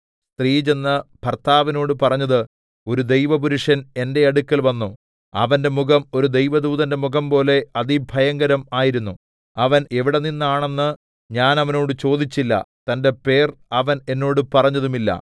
സ്ത്രീ ചെന്ന് ഭർത്താവിനോട് പറഞ്ഞത് ഒരു ദൈവപുരുഷൻ എന്റെ അടുക്കൽ വന്നു അവന്റെ മുഖം ഒരു ദൈവദൂതന്റെ മുഖംപോലെ അതിഭയങ്കരം ആയിരുന്നു അവൻ എവിടെനിന്നാണെന്ന് ഞാൻ അവനോട് ചോദിച്ചില്ല തന്റെ പേർ അവൻ എന്നോട് പറഞ്ഞതും ഇല്ല